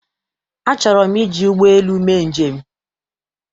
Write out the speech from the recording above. Achọrọ m iji ụgbọelu mee njem.